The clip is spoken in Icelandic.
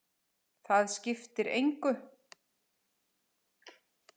Það skiptir engu